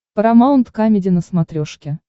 парамаунт камеди на смотрешке